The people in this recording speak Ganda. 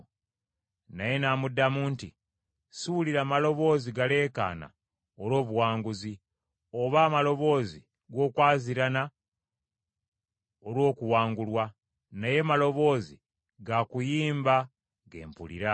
Naye n’amuddamu nti, “Siwulira maloboozi galeekaana olw’obuwanguzi, oba amaloboozi g’okwaziirana olw’okuwangulwa, naye maloboozi ga kuyimba ge mpulira.”